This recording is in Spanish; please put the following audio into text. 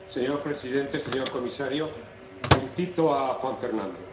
Señor presidente, señor comisario, felicito a Juan Fernando.